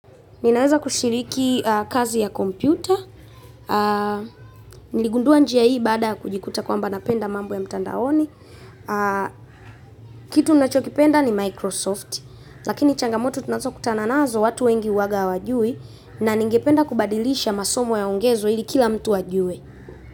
Ninaweza kushiriki kazi ya kompyuta, niligundua njia hii baada ya kujikuta kwamba napenda mambo ya mtandaoni. Kitu nachokipenda ni Microsoft, lakini changamoto tunazo kutana nazo watu wengi huwanga hawajui na ningependa kubadilisha masomo yaongezwe ili kila mtu ajue.